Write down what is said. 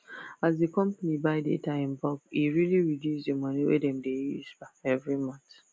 as the company buy data in bulk e really reduce the money wey dem dey use every month